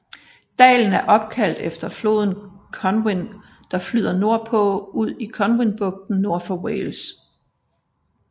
Dalen er opkaldt efter floden Conwy der flyder nordpå ud i Conwy bugten nord for Wales